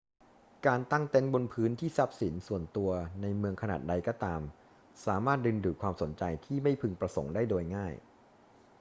การตั้งเต็นท์บนพื้นที่ทรัพย์สินส่วนตัวหรือในเมืองขนาดใดก็ตาม สามารถดึงดูดความสนใจที่ไม่พึงประสงค์ได้โดยง่าย